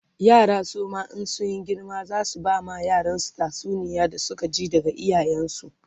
yara suma in sun girma zasu bama yaransu tatsuniyar da Suka ji daga iyayen su